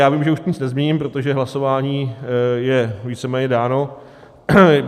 Já vím, že už nic nezměním, protože hlasování je víceméně dáno.